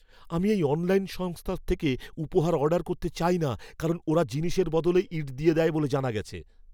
আমি এই অনলাইন সংস্থার থেকে উপহার অর্ডার করতে চাই না কারণ ওরা জিনিসের বদলে ইঁট দিয়ে দেয় বলে জানা গেছে!